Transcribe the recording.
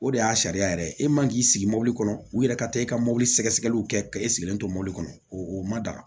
O de y'a sariya yɛrɛ ye e man k'i sigi mɔbili kɔnɔ u yɛrɛ ka taa i ka mobili sɛgɛsɛgɛliw kɛ ka e sigilen to mobili kɔnɔ o ma daga